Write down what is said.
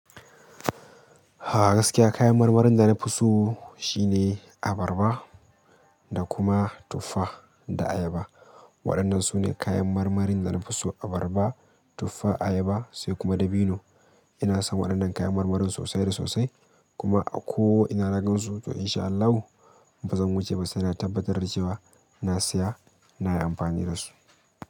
A gaskiya kayan marmarin da na fi so shine abarba da kuma tuffa da ayaba. Waɗannan su ne kayan marmarin da na fi so abarba, tuffa, ayaba sai kuma dabino. Ina son waɗannan kayan marmarin sosai da sosai kuma ko ina na gan su to in sha Allahu in ba zan wuce ba sai na tabbatar da cewa na saya nayi anfani dasu.